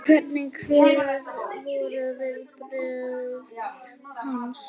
Hvernig, hver voru viðbrögð hans?